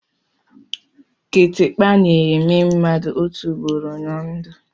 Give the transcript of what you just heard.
Kitikpa na-èmè mmadụ otu ụugboro ná ndụ